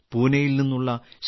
പൂനെയിൽ നിന്നുള്ള ശ്രീ